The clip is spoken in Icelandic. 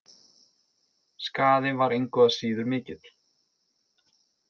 Skaðinn var engu að síður mikill.